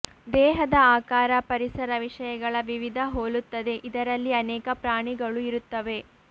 ದೇಹದ ಆಕಾರ ಪರಿಸರ ವಿಷಯಗಳ ವಿವಿಧ ಹೋಲುತ್ತದೆ ಇದರಲ್ಲಿ ಅನೇಕ ಪ್ರಾಣಿಗಳು ಇರುತ್ತವೆ